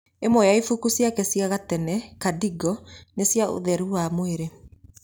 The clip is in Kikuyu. Ĩmwe ya ibaũ cĩake cia gatene Kadingo nĩ cĩa ũtheru wa mwĩrĩ